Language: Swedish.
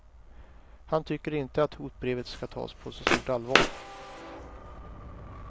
Han tycker inte att hotbrevet ska tas på så stort allvar.